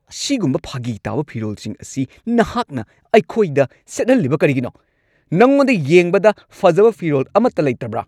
ꯑꯁꯤꯒꯨꯝꯕ ꯐꯥꯒꯤ ꯇꯥꯕ ꯐꯤꯔꯣꯜꯁꯤꯡ ꯑꯁꯤ ꯅꯍꯥꯛꯅ ꯑꯩꯈꯣꯏꯗ ꯁꯦꯠꯍꯜꯂꯤꯕ ꯀꯔꯤꯒꯤꯅꯣ? ꯅꯉꯣꯟꯗ ꯌꯦꯡꯕꯗ ꯐꯖꯕ ꯐꯤꯔꯣꯜ ꯑꯃꯠꯇ ꯂꯩꯇꯕ꯭ꯔꯥ?